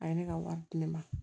A ye ne ka wari di ne ma